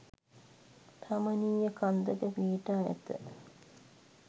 රමණීය කන්දක පිහිටා ඇත.